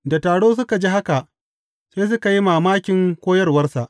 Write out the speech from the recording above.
Da taro suka ji haka, sai suka yi mamakin koyarwarsa.